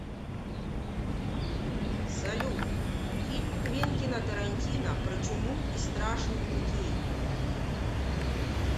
салют фильм квентина тарантино про чуму и страшных людей